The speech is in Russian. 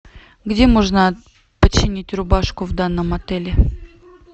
где можно починить рубашку в данном отеле